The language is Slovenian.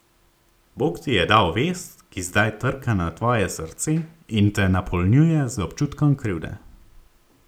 Bog ti je dal vest, ki zdaj trka na tvoje srce in te napolnjuje z občutkom krivde.